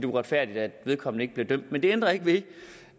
uretfærdigt at vedkommende ikke blev dømt men det ændrer ikke ved